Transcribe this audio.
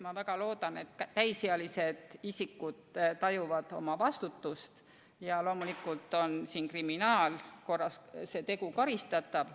Ma väga loodan, et täisealised isikud tajuvad oma vastutust ja loomulikult on see tegu kriminaalkorras karistatav.